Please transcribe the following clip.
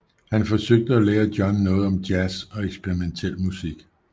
Han forsøgte at lære John noget om jazz og eksperimentel musik